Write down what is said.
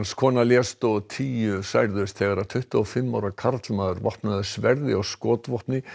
kona lést og tíu særðust þegar tuttugu og fimm ára karlmaður vopnaður sverði og skotvopni